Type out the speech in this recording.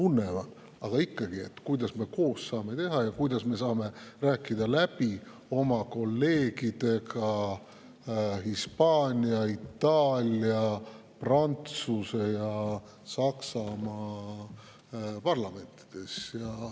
Aga ikkagi,, mida me saame koos teha ja kuidas me saame rääkida läbi oma kolleegidega Hispaania, Itaalia, Prantsuse ja Saksamaa parlamendis.